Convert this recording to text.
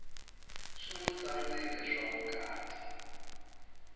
swi nwi tsandzileswa vukati